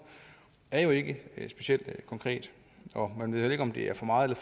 af er jo ikke specielt konkret man ved heller ikke om det er for meget